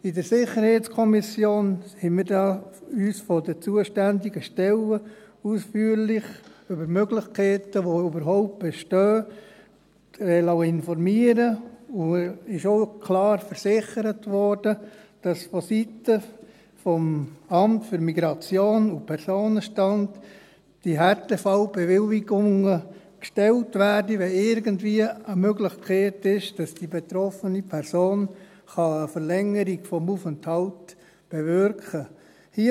In der SiK liessen wir uns dazu von den zuständigen Stellen ausführlich über die Möglichkeiten, die überhaupt bestehen, informieren, und es wurde klar versichert, dass vonseiten des Amts für Migration und Personenstand (MIP) die Härtefallbewilligungen beantragt werden, wenn irgendwie eine Möglichkeit besteht, dass die betroffene Person eine Verlängerung des Aufenthalts bewirken kann.